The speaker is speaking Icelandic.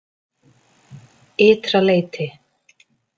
Ytra leyti